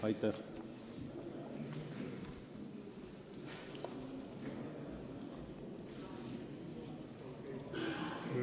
Aitäh!